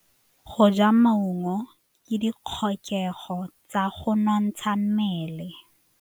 Go ja maungo ke ditlhokegô tsa go nontsha mmele.